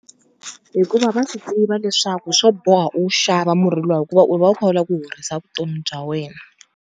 Hikuva va swi tiva leswaku swo boha u xava murhi luwa hikuva u va u kha u lava ku horisa vutomi bya wena.